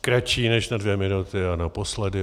Kratší než na dvě minuty a naposledy.